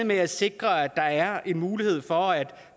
med at sikre at der er en mulighed for at